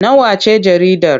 Nawa ce jaridar?